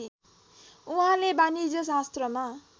उहाँले वाणिज्य शास्त्रमा